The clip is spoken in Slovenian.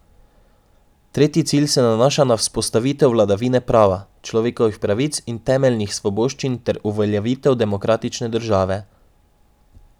Tretji cilj se nanaša na vzpostavitev vladavine prava, človekovih pravic in temeljnih svoboščin ter uveljavitev demokratične države.